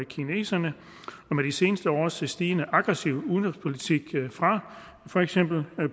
kineserne og med de seneste års stigende aggressive udenrigspolitik fra for eksempel